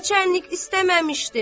Naçərnik istəməmişdi.